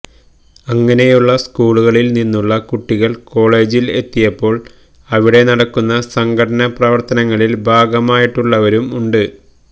അങ്ങനെയുള്ള സ്കൂളുകളില് നിന്നുള്ള കുട്ടികള് കോളേജില് എത്തിയപ്പോള് അവിടെ നടക്കുന്ന സംഘടന പ്രവര്ത്തനങ്ങളില് ഭാഗമായിട്ടുള്ളവരും ഉണ്ട്